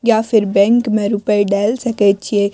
या फिर बैंक में रूपए डाल सकै छिए।